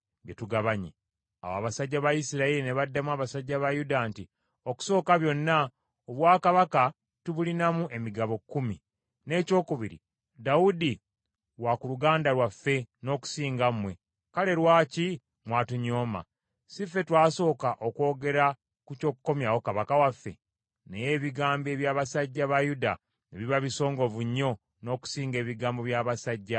Awo abasajja ba Isirayiri ne baddamu abasajja ba Yuda nti, “Okusooka byonna, obwakabaka tubulinamu emigabo kkumi. N’ekyokubiri, Dawudi wa ku luganda lwaffe n’okusinga mmwe. Kale lwaki mwatunyooma? Si ffe twasooka okwogera ku ky’okukomyawo kabaka waffe?” Naye ebigambo eby’abasajja ba Yuda ne biba bisongovu nnyo n’okusinga ebigambo eby’abasajja ba Isirayiri.